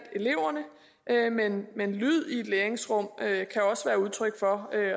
eleverne men lyd i et læringsrum kan også være udtryk for